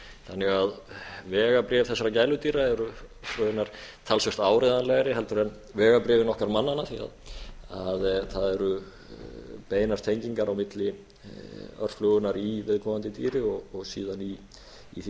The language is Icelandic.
þannig að vegabréf þessara gæludýra eru raunar talsvert áreiðanlegri heldur en vegabréfin okkar mannanna því það eru beinar tengingar á milli örflögunnar í viðkomandi dýri og síðan í því